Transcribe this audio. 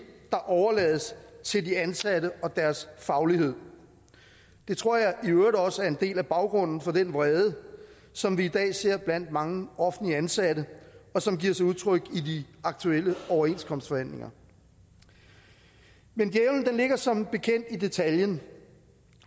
der overlades til de ansatte og deres faglighed det tror jeg i øvrigt også er en del af baggrunden for den vrede som vi i dag ser blandt mange offentligt ansatte og som giver sig udtryk i de aktuelle overenskomstforhandlinger men djævlen ligger som bekendt i detaljen